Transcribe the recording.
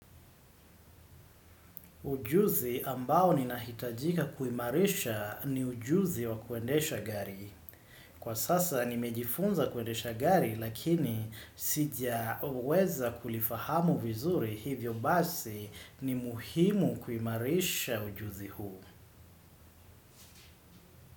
Ujuzi ambao ninahitajika kuimarisha ni ujuzi wa kuendesha gari. Kwa sasa nimejifunza kuendesha gari lakini sijaweza kulifahamu vizuri hivyo basi ni muhimu kuimarisha ujuzi huu.